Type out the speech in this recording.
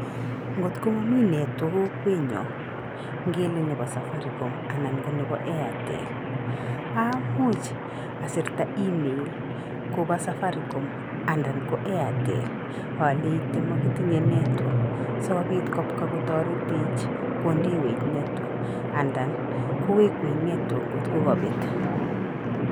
Ngotko momii network kokwet nyoo ngele nebo safaricom anan ko nebo airtel. Amuch asirta email kopaa safaricom andan ko airtel aleite mokitinye network so kobit kopka kotaretech kondewech network anadan kowekwech network ngotkokabet.